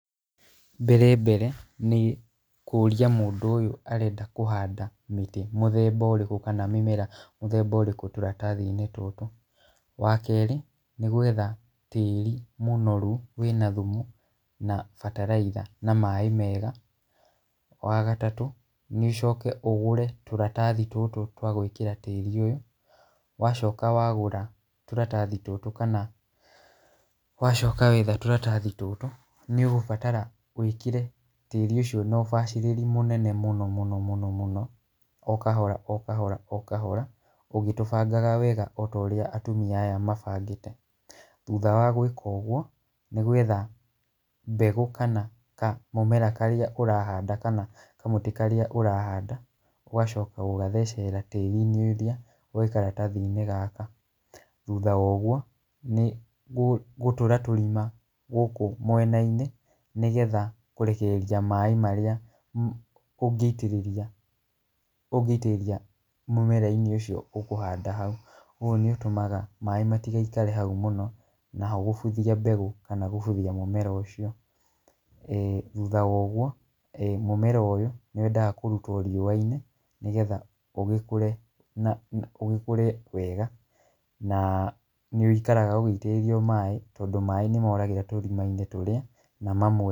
Mbere mbere nĩkũria mũndũ ũyũ arenda kũhanda mĩtĩ mĩthemba ũrĩkũ ana mĩmera mũthemba ũrĩkũ tũratathi-inĩ tũtũ, wa kerĩ nĩgwetha tĩri mũnoru wĩna thumu, na bataraitha na maaĩ mega, wa gatatũ nĩ ũcoke ũgũre tũratathi tũtũ twa gwĩkĩra tĩri ũyũ, wacoka wagũra tũratathi tũtũ kana , wacoka wetha tũratathi tũtũ, nĩ ũgũbatara wĩkĩre tĩri ũcio na ũbacĩrĩri mũnene mũno mũno mũno, o kahora o kahora o kahora ũgĩtũbangaga wega o ta ũria atumia aya mabangĩte haha , thutha wa gwĩka ũgwo nĩ gwetha mbegũ kana kamũmera karĩa ũrahanda kana kamũtĩ karĩa ũrahanda , ũgacoka gũgathecerera tĩri-inĩ ũrĩa wĩ karatathi-inĩ gaka, thutha wa ũgwo nĩ gũtũra tũrima gũkũ mĩena-inĩ, nĩgetha kũrekereria maaĩ marĩa ũngĩitĩrĩria ũngĩitĩrĩria mũmera-inĩ ũcio ũkũhanda hau, ũũ nĩ ũtũmaga maaĩ matigaikare hau mũno , naho gũbuthia mbegũ kana gũbuthia mũmera ũcio, ĩĩ thutha wa ũgwo, mũmera ũyũ nĩ wendaga kũrutwo riũa-inĩ nĩgetha ũgĩkũre na ũgĩkũre wega, na nĩwĩikaraga ũgĩitagĩrĩrio maaĩ, tondũ maaĩ nĩmoragĩra tũrima-inĩ tũrĩa na mamwe.